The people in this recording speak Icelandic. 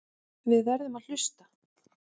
Við verðum að hlusta.